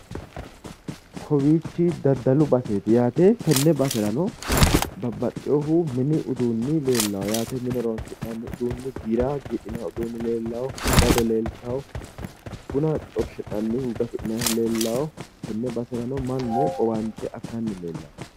Kowiichi daddalu baseeti yaate tenne baserano babbaxxeyoohu mini uduunni leellawo yaate mine horonsi'nanni uduunni giira giidhinayi uduunni leellawo dado leeltawo bunu xorshi'nannihu gafi'nayiihu leellawo tenne baserano mannu owaante afiranni leellanno